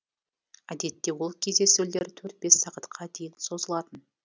әдетте ол кездесулер төрт бес сағатқа дейін созылатын